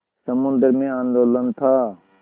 समुद्र में आंदोलन था